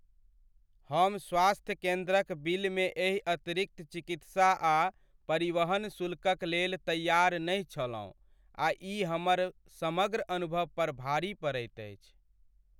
हम स्वास्थ्य केन्द्रक बिलमे एहि अतिरिक्त चिकित्सा आ परिवहन शुल्कक लेल तैयार नहि छलहुँ आ ई हमर समग्र अनुभव पर भारी पड़ैत अछि।